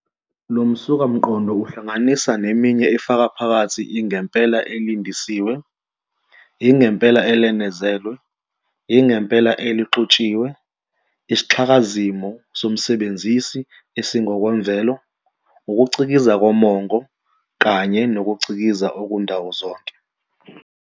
Lo msukamqondo uhlangana neminye efaka phakathi ingempela elandisiwe, ingempela elenezelwe, ingempela elixutshiwe, isixhakazimo somsebenzisi esingokwemvelo, ukucikiza komongo, kanye nokucikiza okundawozonke.